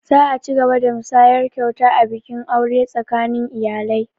Za a cigaba da musayar kyauta a bikin aure tsakanin iyalai